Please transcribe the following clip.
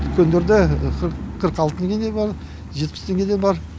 дүкендерде қырық алты теңгеден бар жетпіс теңгеден бар